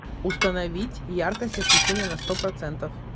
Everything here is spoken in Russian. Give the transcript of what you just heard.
установить яркость освещения на сто процентов